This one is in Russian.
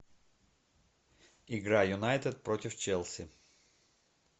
игра юнайтед против челси